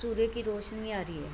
सूर्य की रौशनी आ रही है।